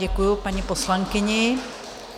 Děkuju paní poslankyni.